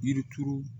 Yiri turu